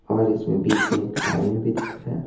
और इसमें बीच में एक आदमी भी दिख रहा है।